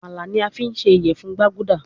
Amala ni a fi ṣe iyẹfun gbaguda